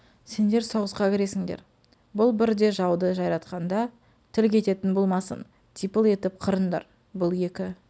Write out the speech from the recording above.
сендер соғысқа кіресіндер бұл бір де жауды жайратқанда тіл кететін болмасын типыл етіп қырындар бұл екі